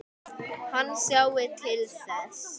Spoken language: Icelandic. Hann sjái til þess.